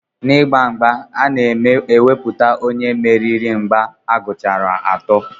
N'ịgba mgba, a na-ekwupụta onye mmeri mgbe a gụchara atọ.